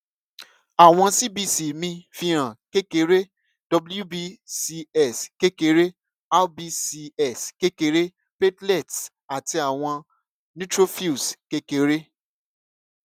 awọn cbc mi fihan kekere wbcs kekere rbcs kekere platelets ati awọn neutrophils kekere